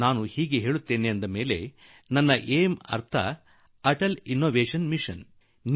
ನಾನು ಆ ರೀತಿ ಹೇಳುವಾಗ ನನ್ನ ಂIಒ ಅಂದರೆ ಅಟಲ್ ಇನ್ನೋವೇಷನ್ ಮಿಷನ್ ಎಂದು ಅರ್ಥ